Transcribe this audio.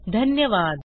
सहभागासाठी धन्यवाद